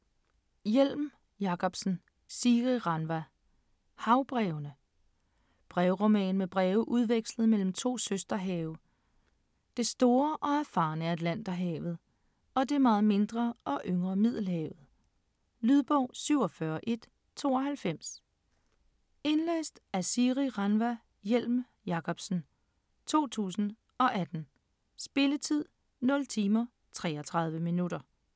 Hjelm Jacobsen, Siri Ranva: Havbrevene Brevroman med breve udvekslet mellem to søsterhave: det store og erfarne Atlanterhavet og det meget mindre og yngre Middelhavet. Lydbog 47192 Indlæst af Siri Ranva Hjelm Jacobsen, 2018. Spilletid: 0 timer, 33 minutter.